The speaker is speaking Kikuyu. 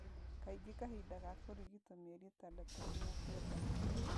Kaingĩ kahinda ga kũrigitwo mĩeri ĩtandatũ nginya kenda.